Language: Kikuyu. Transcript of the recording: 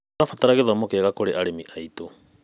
Tũrabatara gĩthomo kĩega kũrĩ arĩmi aitũ.